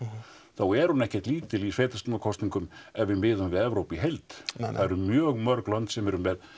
þá er hún ekkert lítil í sveitarstjórnarkosningum ef við miðum við Evrópu í heild það eru mjög mörg lönd sem eru með